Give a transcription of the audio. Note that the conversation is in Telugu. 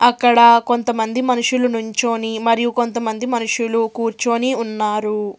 అక్కడ కొంతమంది మనుషులు నుంచొని మరియు కొంతమంది మనుషులు కూర్చొని ఉన్నారు.